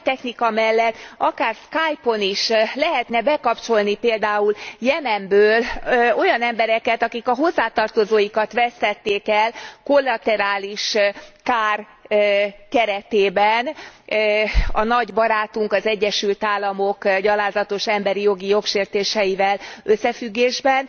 A mai technika mellett akár Skype on is lehetne bekapcsolni például Jemenből olyan embereket, akik a hozzátartozóikat vesztették el kollaterális kár keretében a nagy barátunk, az Egyesült Államok gyalázatos emberi jogi jogsértéseivel összefüggésben,